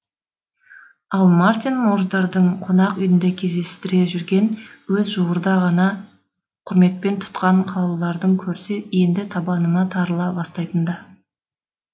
ал мартин морздардың қонақ үйінде кездестіре жүрген өзі жуырда ғана құрметпен тұтқан қалаулыларды көрсе енді танабы тарыла бастайтын да